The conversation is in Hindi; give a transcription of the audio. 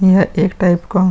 यह एक टाइप का --